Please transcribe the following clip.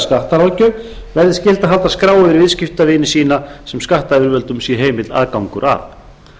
skattaráðgjöf verði skylt að halda skrá yfir viðskiptavini sína sem skattyfirvöldum sé heimill aðgangur að á